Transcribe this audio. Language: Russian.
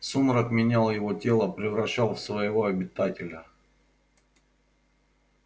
сумрак менял его тело превращал в своего обитателя